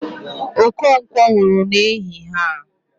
Okonkwo nwụrụ n'ehihe a